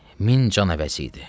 Min can əvəzi idi.